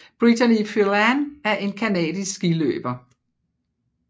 Brittany Phelan er en canadisk skiløber